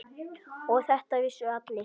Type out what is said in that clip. Og þetta vissu allir.